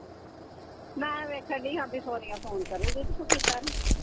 ਮੈਂ ਵੇਖਣ ਡਈ ਆ ਵੀ ਸੋਨੀਆ phone ਕਰੂੰਗੀ। ਤੇ ਤੂੰ ਕੀਤਾ ਨਹੀਂ।